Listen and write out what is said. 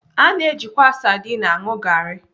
A na-ejikwa sadin aṅụ garị.